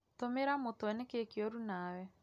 Tũmĩra mũtwe nĩkĩĩ kĩuru nawe